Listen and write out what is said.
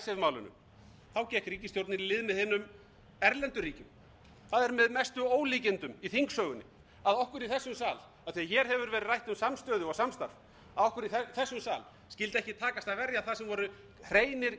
icesave málinu gekk ríkisstjórnin í lið með hinum erlendu ríkjum það er með mestu ólíkindum í þingsögunni að okkur í þessum sal af því að hér hefur verið rætt um samstöðu og samstarf að okkur í þessum sal skyldi ekki takast að verja það sem voru hreinir